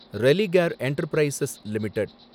Religare Enterprises limited